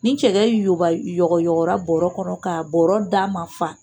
Ni cɛkɛ yoba yɔgɔyɔgɔra bɔɔrɔ kɔnɔ ka da man fa.